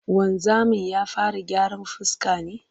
Wanzamin ya fara gyaran fuska ne?